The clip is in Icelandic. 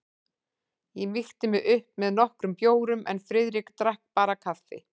Ég mýkti mig upp með nokkrum bjórum en Friðrik drakk bara kaffi.